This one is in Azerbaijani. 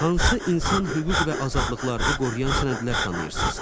Hansı insan hüquq və azadlıqlarını qoruyan sənədlər tanıyırsınız?